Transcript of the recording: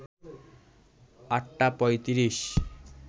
৮টা ৩৫